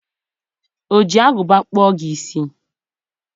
O ji agụba kpụọ gị isi?